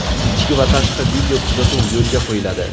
Ichki va tashqi video kuzatuv yo‘lga qo‘yiladi.